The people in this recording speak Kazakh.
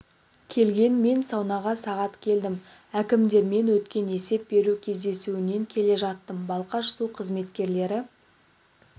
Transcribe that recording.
келген мен саунаға сағат келдім әкімдермен өткен есеп беру кездесуінен келе жаттым балқаш су қызметкерлері